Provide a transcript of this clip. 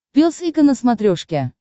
пес и ко на смотрешке